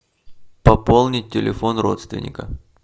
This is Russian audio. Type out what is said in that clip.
пополнить телефон родственника